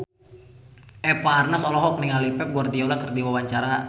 Eva Arnaz olohok ningali Pep Guardiola keur diwawancara